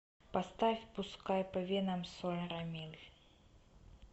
поставь пускай по венам соль рамиль